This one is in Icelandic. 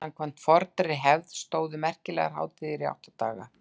samkvæmt fornri hefð stóðu merkilegar hátíðir í átta daga